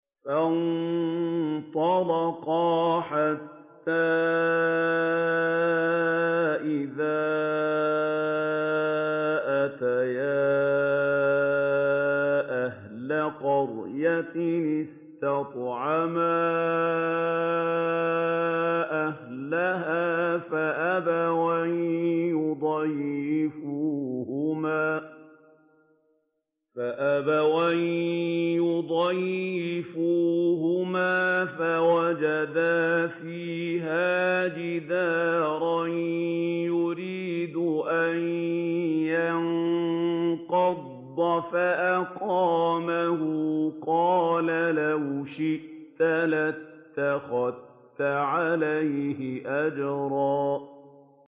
فَانطَلَقَا حَتَّىٰ إِذَا أَتَيَا أَهْلَ قَرْيَةٍ اسْتَطْعَمَا أَهْلَهَا فَأَبَوْا أَن يُضَيِّفُوهُمَا فَوَجَدَا فِيهَا جِدَارًا يُرِيدُ أَن يَنقَضَّ فَأَقَامَهُ ۖ قَالَ لَوْ شِئْتَ لَاتَّخَذْتَ عَلَيْهِ أَجْرًا